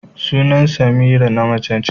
Sunan Semira na mace ce.